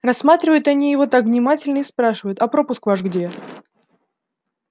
рассматривают они его так внимательно и спрашивают а пропуск ваш где